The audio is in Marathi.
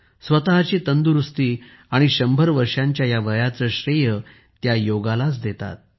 स्वतःची तंदुरुस्ती आणि शंभर वर्षांच्या या वयाचे श्रेय त्या योगालाच देतात